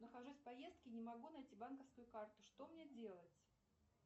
нахожусь в поездке не могу найти банковскую карту что мне делать